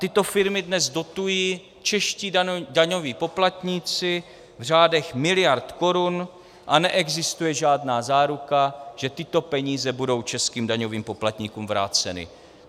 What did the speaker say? Tyto firmy dnes dotují čeští daňoví poplatníci v řádech miliard korun a neexistuje žádná záruka, že tyto peníze budou českým daňovým poplatníkům vráceny.